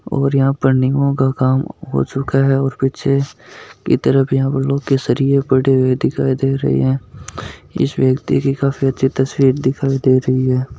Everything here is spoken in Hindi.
ओर यहा पर निम का काम हो चूका है ओर यहा इस तरफ यहा पर सलिए पड़े दिखाय दे रहे है इस व्यक्ति की काफ़ी अच्छी तस्वीर दिखाय दे रही है।